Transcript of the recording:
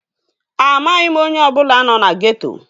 Amaghị m onye ọbụla nọ na geeto